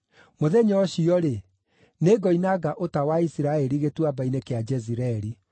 Mũthenya ũcio-rĩ, nĩngoinanga ũta wa Isiraeli Gĩtuamba-inĩ kĩa Jezireeli.”